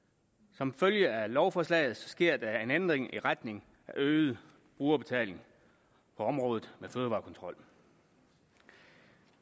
som følge af lovforslaget sker der en ændring i retning af øget brugerbetaling på området med fødevarekontrol